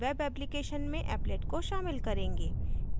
web application में applet को शामिल करेंगे